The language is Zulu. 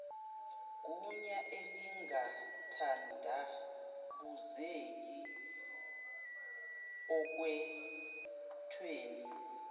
gunya elingathandabuzeki okhethweni